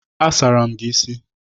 A sara m isi gị.